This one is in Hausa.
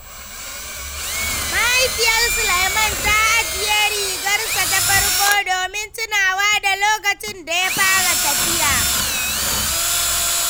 Mahaifiyar Sulaiman ta ajiye rigarsa ta farko domin tunawa da lokacin da ya fara tafiya.